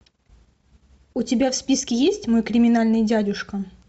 у тебя в списке есть мой криминальный дядюшка